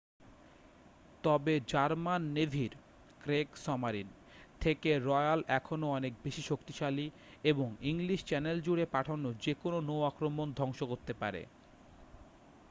"তবে জার্মান নেভির "ক্রেগসমারিন" থেকে রয়্যাল এখনও অনেক বেশি শক্তিশালী এবং ইংলিশ চ্যানেল জুড়ে পাঠানো যে কোনও নৌ আক্রমণ ধ্বংস করতে পারে।